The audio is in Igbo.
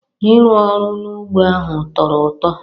Ịrụ ọrụ n'ugbo ahụ tọrọ ụtọ